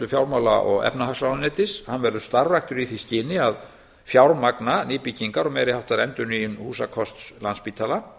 fjármála og efnahagsráðuneytis hann verður starfræktur í því skyni að fjármagna nýbyggingar og meiri háttar endurnýjun húsakosts landspítala